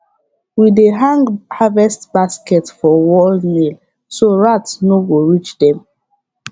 we dey hang harvest baskets for wall nail so rat no go reach them